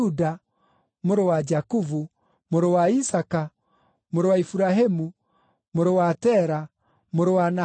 mũrũ wa Jakubu, mũrũ wa Isaaka, mũrũ wa Iburahĩmu, mũrũ wa Tera, mũrũ wa Nahoru,